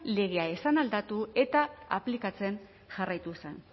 legea ez zen aldatu eta aplikatzen jarraitu zen